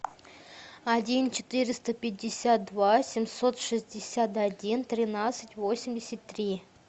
один четыреста пятьдесят два семьсот шестьдесят один тринадцать восемьдесят три